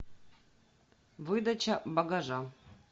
выдача багажа